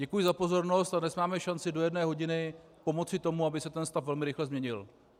Děkuji za pozornost a dnes máme šanci do jedné hodiny pomoci tomu, aby se ten stav velmi rychle změnil.